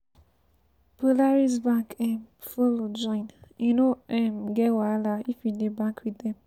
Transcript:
Polaris bank um follow join; you no um get wahala if you dey bank with dem.